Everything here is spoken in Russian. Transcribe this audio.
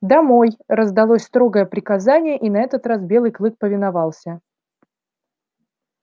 домой раздалось строгое приказание и на этот раз белый клык повиновался